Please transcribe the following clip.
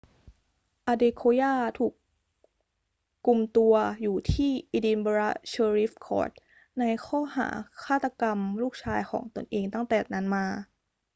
adekoya ถูกกุมตัวอยู่ที่ edinburgh sheriff court ในข้อหาฆาตกรรมลูกชายของตนเองตั้งแต่นั้นมา